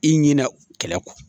I ɲinɛ u kɛlɛ kɔ